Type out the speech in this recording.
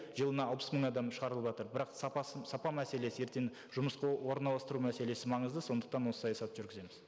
жылына алпыс мың адам шығарылыватыр бірақ сапасын сапа мәселесі ертең жұмысқа орналастыру мәселесі маңызды сондықтан осы саясатты жүргіземіз